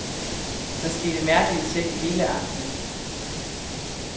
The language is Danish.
Der skete mærkelige ting hele aftenen.